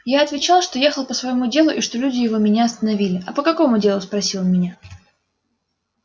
я отвечал что ехал по своему делу и что люди его меня остановили а по какому делу спросил меня